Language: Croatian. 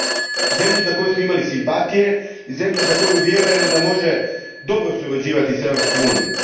Zemlja je to prema kojoj smo osjećali simpatiju i zemlja za koju vjerujemo da može dobro surađivati s Europskom unijom.